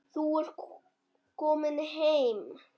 Þú ert komin heim.